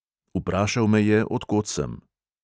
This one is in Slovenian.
Vprašal me je, od kod sem.